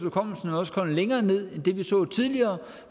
også kommet længere ned end det vi så tidligere